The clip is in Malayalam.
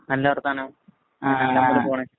നല്ല വര്‍ത്താനം.പോണ്